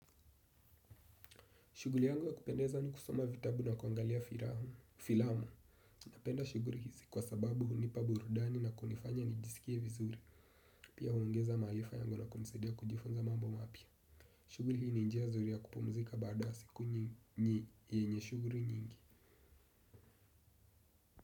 Shuguli yangu ya kupendeza ni kusoma vitabu na kuangalia filamu. Napenda shuguli hizi kwa sababu hunipa burudani na kunifanya nijisikie vizuri. Pia huongeza maalifa yangu na kunisadia kujifunza mambo mapya. Shuguli hii ni njia nzuri ya kupumzika baada wa siku yenye shuguli nyingi.